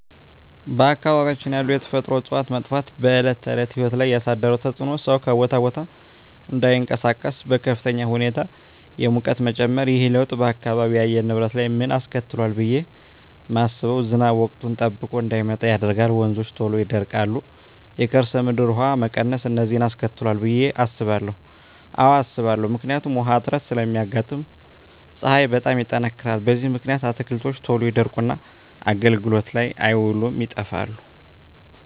በአካባቢያችን ያሉ የተፈጥሮ እፅዋት መጥፋት በዕለት ተዕለት ሕይወት ላይ ያሣደረው ተፅኖ ሠው ከቦታ ቦታ እዳይንቀሣቀስ፤ በከፍተኛ ሁኔታ የሙቀት መጨመር። ይህ ለውጥ በአካባቢው የአየር ንብረት ላይ ምን አስከትሏል ብየ ማስበው። ዝናብ ወቅቱን ጠብቆ እዳይመጣ ያደርጋል፤ ወንዞች ቶሎ ይደርቃሉ፤ የከርሠ ምድር ውሀ መቀነስ፤ እነዚን አስከትሏል ብየ አስባለሁ። አዎ አስባለሁ። ምክንያቱም ውሀ እጥረት ስለሚያጋጥም፤ ፀሀይ በጣም ይጠነክራል። በዚህ ምክንያት አትክልቶች ቶሎ ይደርቁና አገልግሎት ላይ አይውሉም ይጠፋሉ።